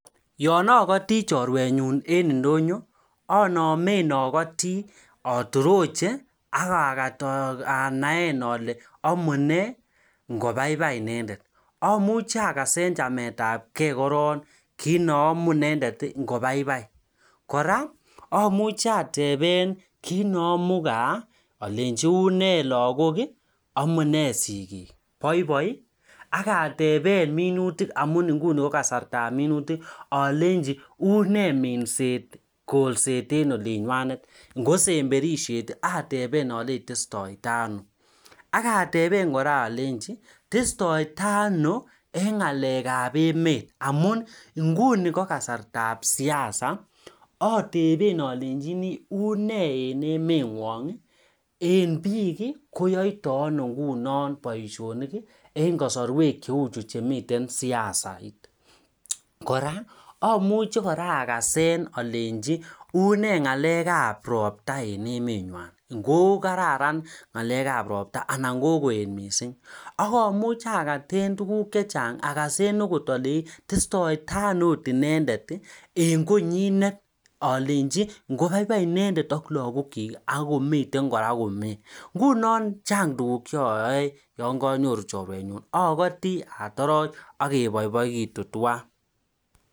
Anamee atorochee akakat anae alee baibai inendet ak gaa lagok ak sikik koraa atepee akopaa minutik ab imbar akasee koraa unee roptaa eng emenywoaa